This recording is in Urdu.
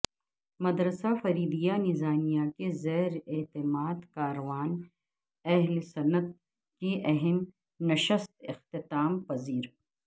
مدرسہ فریدیہ نظامیہ کے زیر اہتمام کاروان اہلسنت کی اہم نشست اختتام پذیر